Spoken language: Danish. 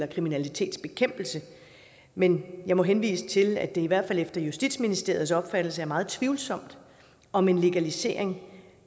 og kriminalitetsbekæmpelse men jeg må henvise til at i hvert fald efter justitsministeriets opfattelse er det meget tvivlsomt om en legalisering